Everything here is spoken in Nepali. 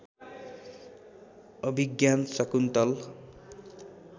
अभिज्ञान शाकुन्तल